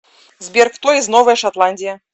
сбер кто из новая шотландия